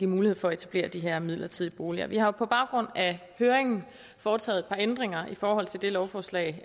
mulighed for at etablere de her midlertidige boliger vi har på baggrund af høringen foretaget et par ændringer i forhold til det lovforslag